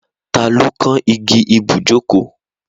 Ta ló kán igi ibùjókòó?